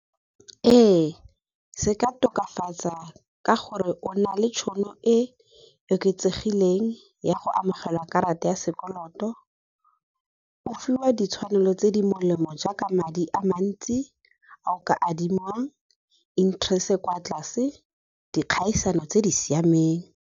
Ee se ka tokafatsa ka gore o na le tšhono e e oketsegileng ya go amogela karata ya sekoloto, go fiwa ditshwanelo tse di molemo jaaka madi a mantsi a o ka adimiwang, interest-e e kwa tlase dikgaisano tse di siameng.